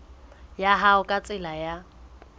ya hao ka tsela ya